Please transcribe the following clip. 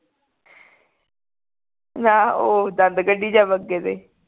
ਨਾ ਉਹ ਦੰਦ ਕੱਢੀ ਜਾਵੇ ਅੱਗੇ ਅੱਗੇ ਤੇ